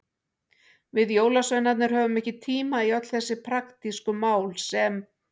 Við jólasveinarnir höfum ekki tíma í öll þessi praktísku mál sem.